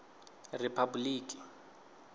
riphabuḽiki